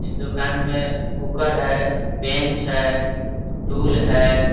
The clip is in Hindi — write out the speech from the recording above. इस दूकान में कुकर है बेंच है टूल है --